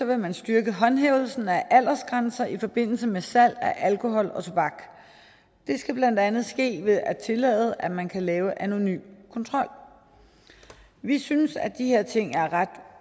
vil man styrke håndhævelsen af aldersgrænser i forbindelse med salg af alkohol og tobak det skal blandt andet ske ved at tillade at man kan lave anonym kontrol vi synes at de her ting er ret